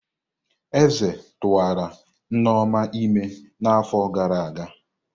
Eze tụwara Nneoma ímé n'afọ gara aga.